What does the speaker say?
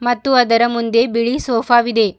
ಮತ್ತು ಅದರ ಮುಂದೆ ಬಿಳಿ ಸೋಪಾ ವಿದೆ.